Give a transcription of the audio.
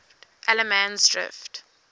allemansdrift